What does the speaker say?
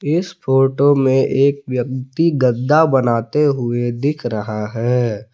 इस फोटो में एक व्यक्ति गद्दा बनाते हुए दिख रहा है।